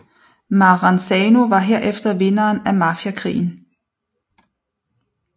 Maranzano var herefter vinderen af mafiakrigen